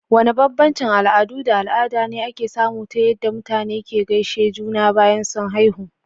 Wane bambancin al'adu da al'ada ne ake samu ta yadda mutane ke gaishe juna bayan sun haihu?